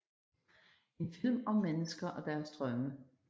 En film om mennesker og deres drømme